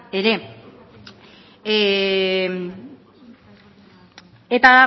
ere eta